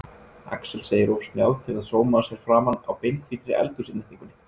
Axel segir of snjáð til að sóma sér framan á beinhvítri eldhúsinnréttingunni.